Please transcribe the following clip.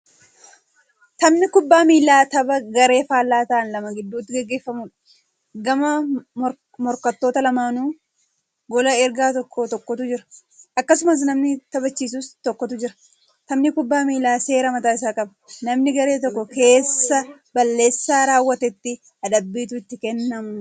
Taphni kubbaa miillaa tapha garee faallaa ta'an lama gidduutti gaggeeffamuudha. Gama morkattoota lamaaninuu goola egaa tokko tokkotu jira. Akkasumas namni taphachisus tokkotu jira. Taphni kubbaa miillaa seera mataa isaa qaba. Namna garee tokko keessaa balleessaa raawwatetti adabbiitu itti kennamu.